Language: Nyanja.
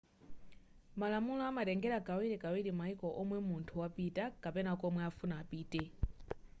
malamulo amatengera kawirikawiri mayiko omwe munthu wapita kapena komwe akufuna apite